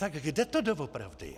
Tak kde to doopravdy je?